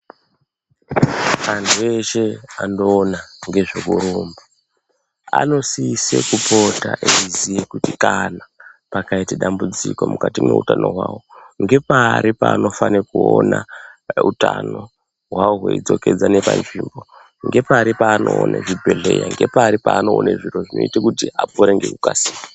Antu eshe anoona ngezvekurumba anosise kupota eiziye kuti kana pakaite dambudziko mukati mweutano hwawo ngepari paanofane kuoona, utano hwavo hweidzokedzane panzvimbo, ngepari paanoone chibhedhleya, ngepari panone zviro zvinoite kuti apore ngekukasika.